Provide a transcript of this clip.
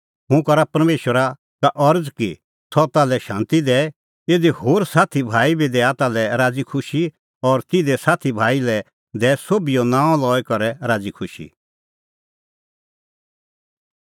हुंह करा परमेशरा अरज़ कि सह ताल्है शांती दैए इधी होर सोभै साथी भाई बी दैआ ताल्है राज़ीखुशी और तिधे साथी भाई लै दैऐ सोभिओ नांअ लई करै राज़ीखुशी